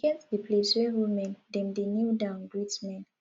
e get di place where women dem dey kneel down greet men